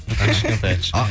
аха кішкентай кішкентай